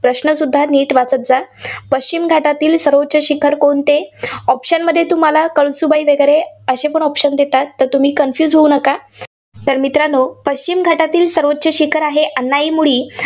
प्रश्नसुद्धा नीट वाचात जा. पश्चिम घाटातील सर्वोच्च शिखर कोणते? option मध्ये कळसुबाई वगैरे असेपण option देतात. तर तुम्ही confuse होऊ नका. तर मित्रांनो पश्चिम घाटातील सर्वोच्च शिखर आहे अन्नाईमुडी.